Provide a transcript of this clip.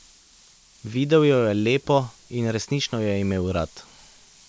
Videl jo je lepo in resnično jo je imel rad.